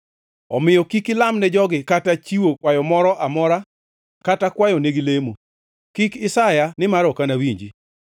“Omiyo kik ilamne jogi kata chiwo kwayo moro amora kata kwayonegi lamo; kik isaya, nimar ok anawinji.